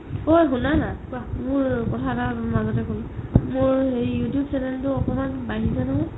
ঐ শুনা না মোৰ কথা এটা মাজতে ক'ম মোৰ you tube channel টো অকমান বাঢ়িছে নহয়